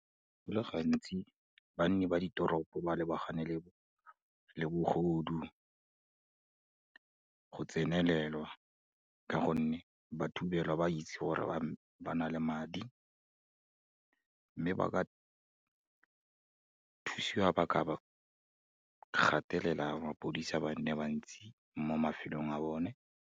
Go le gantsi banni ba ditoropo ba lebagane le bogodu, go tsenelelwa ka gonne, ba thubelwa ba itse gore ba ba na le madi, mme ba ka thusiwa, ba ka gatelela mapodisa ba nne bantsi, mo mafelong a bone.